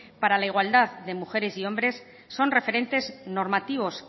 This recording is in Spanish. para la igualdad de mujeres y hombres son referentes normativos